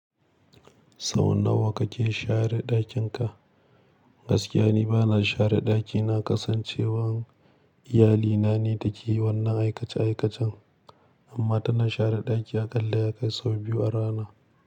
Sau nawa kake share ɗakin ka? Gaskiya ni bana share ɗaki, na kasancewa iyali na ne take wannan aikace aikacen amma tana share ɗaki aƙalla ya kai sau biyu a rana.